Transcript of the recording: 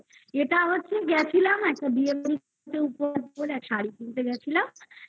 এটা হচ্ছে গেছিলাম একটা বিয়েবাড়ির জন্য একটা শাড়ি কিনতে গেছিলাম।